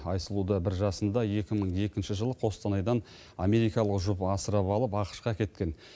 айсұлуды бір жасында екі мың екінші жылы қостанайдан америкалық жұп асырап алып ақш қа кеткен